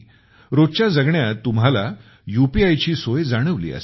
रोजच्या जगण्यात तुम्हाला सुद्धा यूपीआय ची सोय जाणवली असेल